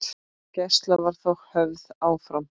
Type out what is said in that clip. Gæsla var þó höfð áfram.